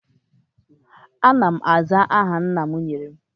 Ana m aza aha nna m nyere m